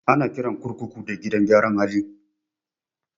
Ana kiran kurkuku da gidan gyara hali